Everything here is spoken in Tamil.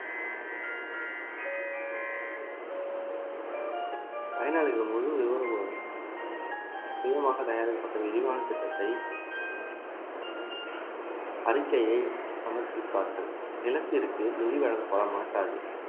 பயனாளிகள் முழு விவரமும் சுயமாக தயாரிக்கப்பட்ட விரிவான திட்டத்தை அறிக்கையை சமர்ப்பிப்பார்கள் நிலத்திற்கு நிதி வழங்கப்பட மாட்டாது